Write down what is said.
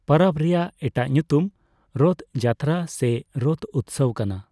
ᱯᱟᱨᱟᱵᱽ ᱨᱮᱭᱟᱜ ᱮᱴᱟᱜ ᱧᱩᱛᱩᱢ ᱨᱚᱛᱷ ᱡᱟᱛᱨᱟ ᱥᱮ ᱨᱚᱛᱷ ᱩᱛᱥᱚᱵᱽ ᱠᱟᱱᱟ ᱾